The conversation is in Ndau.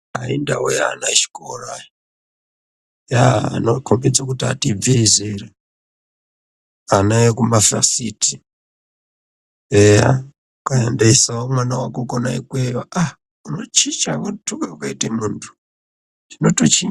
Aaaa indau yeana echikora, yaaa anokhombidze kuti atibibvei zera, ana ekumavhasiti. Eya ukaendesawo mwana wako kwona ikweyo aa unochicha ,unothuka watoite muntu, zvinotochi.